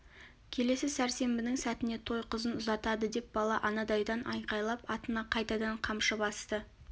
келесі сәрсенбінің сәтіне той қызын ұзатады деп бала анадайдан айқайлап атына қайтадан қамшы басты